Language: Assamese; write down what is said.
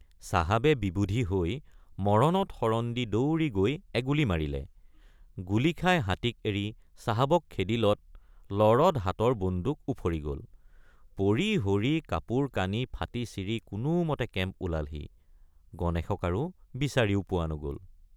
চাহাবে বিবুধি হৈ মৰণত শৰণ দি দৌৰি গৈ এগুলী মাৰিলে গুলী খাই হাতীক এৰি চাহাবক খেদিলত লৰত হাতৰ বন্দুক উফৰি গল পৰিহৰি কাপোৰকানি ফাটিছিৰি কোনোমতে কেম্প ওলালহি গণেশক আৰু বিচাৰিও পোৱা নগল।